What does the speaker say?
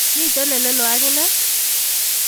miten elelo akine?